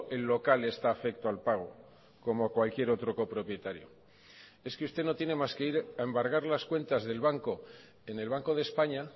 el local está afecto al pago como cualquier otro copropietario es que usted no tiene más que ir a embargar las cuentas del banco en el banco de españa